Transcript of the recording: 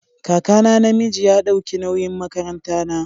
Kakana na miji ya dauki nawyin makaran ta na.